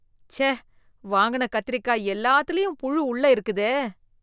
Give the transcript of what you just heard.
ச்சே, வாங்கின கத்தரிக்கா எல்லாத்துலயும் புழு உள்ள இருக்குதே.